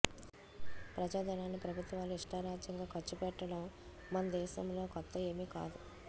ప్రజాధనాన్ని ప్రభుత్వాలు ఇష్టారాజ్యంగా ఖర్చు పెట్టడం మన దేశంలో కొత్త ఏమి కాదు